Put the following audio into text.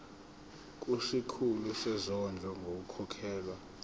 kusikhulu sezondlo ngokukhokhela